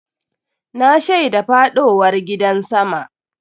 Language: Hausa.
Na shaida faɗowar gidan sama.